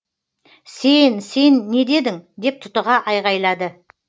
сен сен не дедің деп тұтыға айғайлады